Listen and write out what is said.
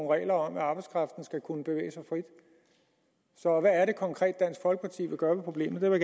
regler om at arbejdskraften skal kunne bevæge sig frit så hvad er det konkret dansk folkeparti vil gøre ved problemet det vil